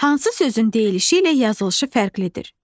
Hansı sözün deyilişi ilə yazılışı fərqlidir?